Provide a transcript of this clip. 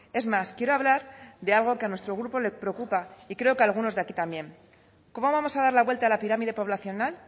es más quiero hablar de algo que a nuestro grupo le preocupa y creo que a algunos de aquí también cómo vamos a dar la vuelta a la pirámide poblacional